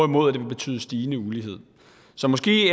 vil betyde stigende ulighed så måske